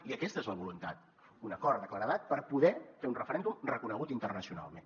i aquesta és la voluntat un acord de claredat per poder fer un referèndum reconegut internacionalment